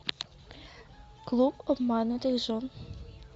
клуб обманутых жен